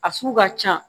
A sugu ka ca